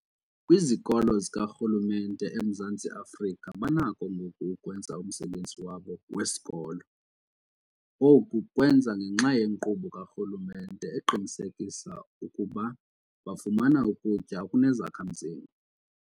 Kwizikolo zikarhulumente eMzantsi Afrika banakho ngoku ukwenza umsebenzi wabo wesikolo. Oku kwenza ngenxa yenkqubo karhulumente eqinisekisa ukuba bafumana ukutya okunezakha-mzimba.